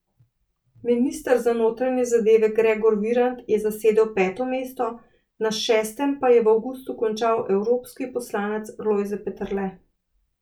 Minister za notranje zadeve Gregor Virant je zasedel peto mesto, na šestem pa je v avgustu končal evropski poslanec Lojze Peterle.